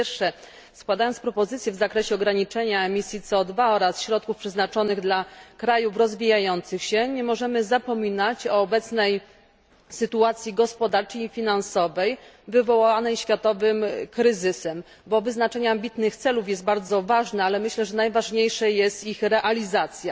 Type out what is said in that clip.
Po pierwsze, składając propozycję w zakresie ograniczenia emisji CO oraz środków przeznaczonych dla krajów rozwijających się nie możemy zapominać o obecnej sytuacji gospodarczej i finansowej wywołanej światowym kryzysem, bo wyznaczenie ambitnych celów jest bardzo ważne, ale myślę, że najważniejsza jest ich realizacja.